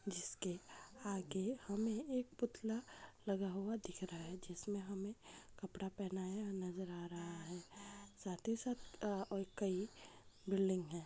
जिसके आगे हमे एक पुतला लगा हुआ दिख रहा है जिसमे हमे कपड़ा पहनाया नजर आ रहा है साथ ही साथ और कही बिल्डिंग है।